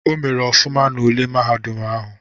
O mere ọfụma n'ule mahadum ahụ.